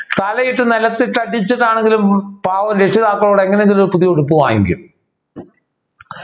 തലയിട്ട് നിലത്തിട്ട് അടിച്ചിട്ടാണെങ്കിലും പാവം രക്ഷിതാക്കളോട് എങ്ങനെയെങ്കിലും പുതിയ ഉടുപ്പ് വാങ്ങിക്കും